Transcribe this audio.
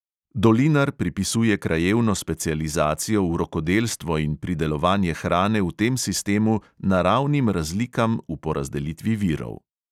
Dolinar pripisuje krajevno specializacijo v rokodelstvo in pridelovanje hrane v tem sistemu naravnim razlikam v porazdelitvi virov.